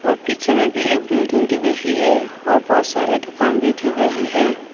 और पीछे में भी एक बिल्डिंग दिख रही है और बहुत सारे दुकान भी दिख रही है।